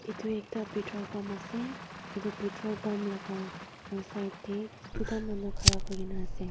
edu ekta petrol pump ase edu petrol pump laka side tae tuita manu khara kurina ase.